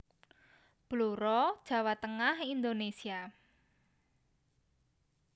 Blora Jawa Tengah Indonesia